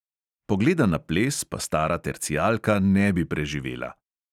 Pogleda na ples pa stara tercijalka ne bi preživela.